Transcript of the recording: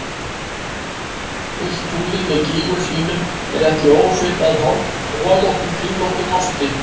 Fullt tunglið með gígum sínum er ekki ósvipað holóttum, kringlóttum osti.